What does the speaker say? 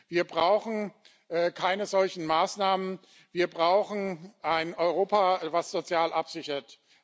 Wir brauchen keine solchen Maßnahmen, wir brauchen ein Europa, das sozial absichert.